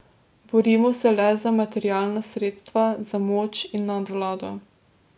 Borimo se le za materialna sredstva, za moč in nadvlado.